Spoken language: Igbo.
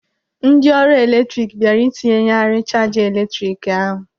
Ndị ọrụ eletrik bịara ịtinyeghari chaja eletrik ahụ.